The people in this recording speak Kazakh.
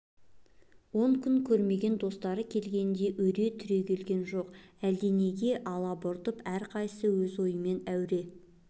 он күн көрмеген достары келгенде өре түрегелген жоқ әлденеге алабұртып әрқайсысы өз ойымен әуре